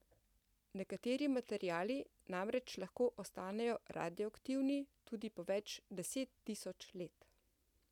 Nekateri materiali namreč lahko ostanejo radioaktivni tudi po več deset tisoč let.